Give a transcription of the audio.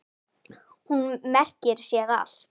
Hún merkir sér allt.